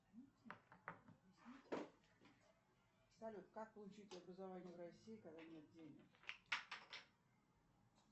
салют как получить образование в россии когда нет денег